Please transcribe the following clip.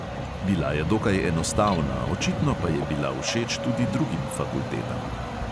Bila je dokaj enostavna, očitno pa je bila všeč tudi drugim fakultetam.